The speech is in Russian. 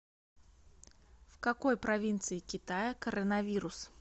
в какой провинции китая коронавирус